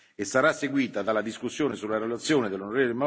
punto, e sarà seguita dalla discussione sulla relazione dell'on.